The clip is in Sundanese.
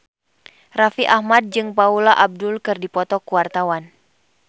Raffi Ahmad jeung Paula Abdul keur dipoto ku wartawan